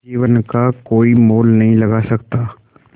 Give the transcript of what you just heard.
जीवन का कोई मोल नहीं लगा सकता